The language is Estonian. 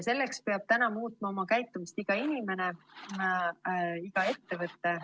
Selleks peab muutma oma käitumist iga inimene, iga ettevõte.